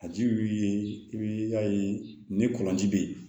A ji wili i b'i y'a ye ni kɔlɔnji bɛ ye